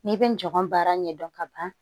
N'i bɛ nɔgɔn baara ɲɛdɔn ka ban